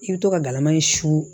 I bɛ to ka galama in su